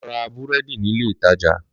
Lọ ra búrẹ́dì nílé ìtajà